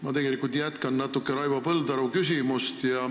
Ma tegelikult natuke jätkan Raivo Põldaru küsimust.